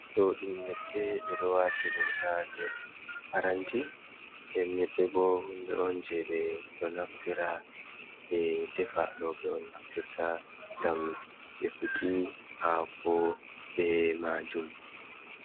Do ɗum nyebbe be dowaji dum ha ner paranti den nyebbe bo hunde on je be do naftira be defa do be on naftirta ngam defuki ha ko be majum.